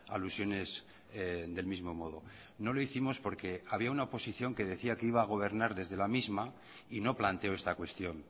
alusiones del mismo modo no lo hicimos porque había una oposición que decía que iba a gobernar desde la misma y no planteó esta cuestión